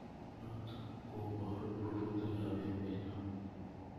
Notok kobooru rurutiikab emenyo.